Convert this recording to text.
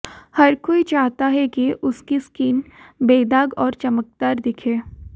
हर कोई चाहता है कि उसकी स्किन बेदाग और चमकदार दिखे